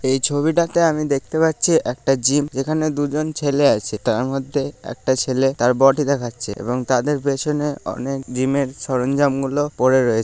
এই ছবিটাতে আমি দেখতে পাচ্ছি একটি জিম এখানে দুজন ছেলে আছে তারমধ্যে একটা ছেলে তার বডি দেখাচ্ছে এবং তাদের পেছনে অনেক জিম এর সরঞ্জাম গুলো পড়ে রয়েছে।